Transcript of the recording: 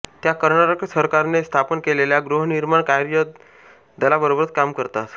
त्या कर्नाटक सरकारने स्थापन केलेल्या गृहनिर्माण कार्य दलाबरोबर काम करतात